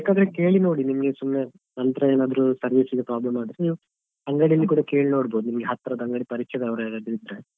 ಬೇಕಾದ್ರೆ ಕೇಳಿನೋಡಿ ನಿಮ್ಗೆ ಸುಮ್ನೆ ನಂತ್ರ ಏನಾದ್ರು service ಗೆ problem ಆದ್ರೆ ಅಂಗಡಿಯಲ್ಲಿ ಕೂಡ ಕೇಳ್ನೋಡ್ಬೋದು ನಿಮ್ಗೆ ಹತ್ರದ ಅಂಗಡಿಯಲ್ಲಿ ಪರಿಚಯದವ್ರು ಯಾರಾದ್ರೂ ಇದ್ರೆ.